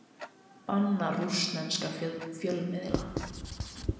Bannar rússneska fjölmiðla